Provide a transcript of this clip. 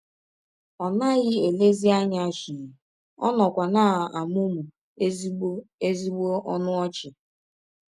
Ọ naghị elezi anya shii, ọ nọkwa na - amụmụ ezịgbọ ezịgbọ ọnụ ọchị.